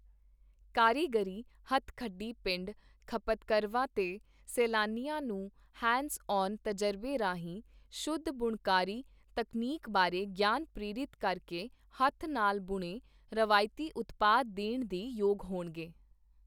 ਕਾਰੀਗਰੀ ਹੱਥਖੱਡੀ ਪਿੰਡ ਖਪਤਕਰਵਾਂ ਤੇ ਸੈਲਾਨੀਆਂ ਨੂੰ ਹੈਂਡਜ਼ ਆਨ ਤਜਰਬੇ ਰਾਹੀਂ ਸ਼ੁੱਧ ਬੁਣਕਾਰੀ ਤਕਨੀਕ ਬਾਰੇ ਗਿਆਨ ਪ੍ਰੇਰਿਤ ਕਰ ਕੇ ਹੱਥ ਨਾਲ ਬੁਣੇ ਰਵਾਇਤੀ ਉਤਪਾਦ ਦੇਣ ਦੇ ਯੋਗ ਹੋਣਗੇ।